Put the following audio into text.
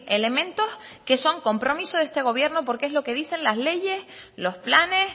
elementos que son compromiso de este gobierno porque es lo que dicen las leyes los planes